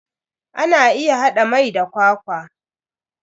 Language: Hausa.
Ana iya hada mai da kwakwa.